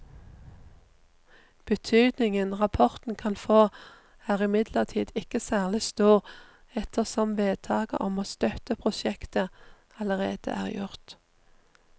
Betydningen rapporten kan få er imidlertid ikke særlig stor ettersom vedtaket om å støtte prosjektet allerede er gjort.